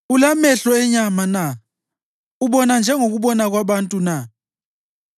Ulamehlo enyama na? Ubona njengokubona kwabantu na?